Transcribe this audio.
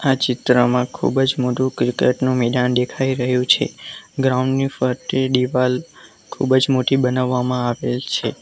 આ ચિત્રમાં ખૂબજ મોટું ક્રિકેટ નું મેદાન દેખાય રહ્યું છે ગ્રાઉન્ડની ફરતે દીવાલ ખૂબજ મોટી બનાવામાં આવેલ છે.